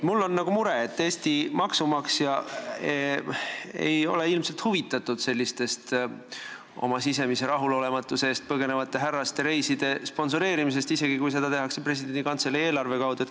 Mul on mure, et Eesti maksumaksja ei ole ilmselt huvitatud sellisest oma sisemise rahulolematuse eest põgenevate härraste reiside sponsoreerimisest, isegi kui seda tehakse presidendi kantselei eelarve kaudu.